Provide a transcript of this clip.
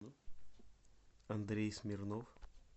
андрей смирнов